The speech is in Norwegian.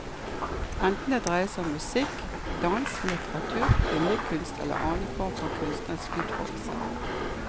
Enten det dreier seg om musikk, dans, litteratur, billedkunst eller annen form for kunstnerisk utfoldelse.